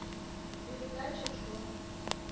передача че